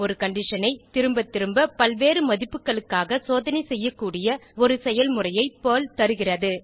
ஒரு கண்டிஷன் ஐ திரும்பதிரும்ப பல்வேறு மதிப்புகளுக்காக சோதனைசெய்யக்கூடிய ஒரு செயல்முறையை பெர்ல் தருகிறது